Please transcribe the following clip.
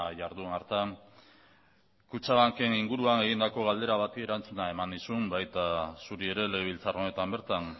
jardun hartan kutxabanken inguruan egindako galdera bati erantzuna eman nizun baita zuri ere legebiltzar honetan bertan